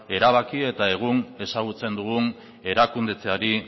erabaki eta egun ezagutzen dugun erakundetzeari